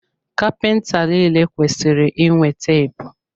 Kapịnta niile kwesịrị inwe teepu.